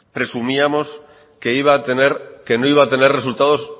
presumíamos que no iba a tener resultados